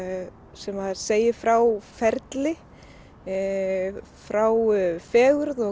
sem segir frá ferli frá fegurð og